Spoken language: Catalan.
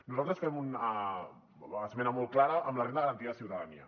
nosaltres fem una esmena molt clara amb la renda garantida de ciutadania